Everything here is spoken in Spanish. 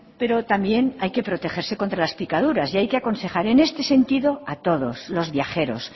pero también hay que protegerse contra las picaduras y hay que aconsejar en este sentido a todos los viajeros